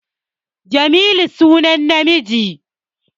Jamilu sunan namiji